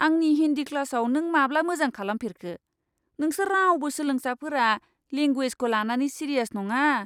आंनि हिन्दी क्लासआव नों माब्ला मोजां खालामफेरखो? नोंसोर रावबो सोलोंसाफोरा लेंगुवेजखौ लानानै सिरियास नङा!